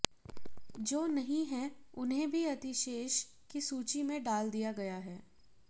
जो नहीं है उन्हें भी अतिशेष की सूची में डाल दिया गया है